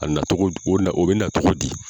A na cogo o bɛ na tɔgɔ di?